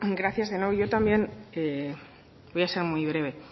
gracias de nuevo yo también voy a ser muy breve